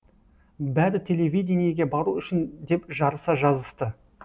бәрі телевидениеге бару үшін деп жарыса жазысты